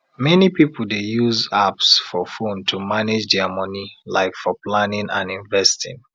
many people dey use apps for phone to manage dia money like for planning and investing